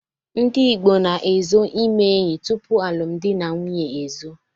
Ndi Igbo na-ezo ime enyi tupu alụm dị na nwunye ezo.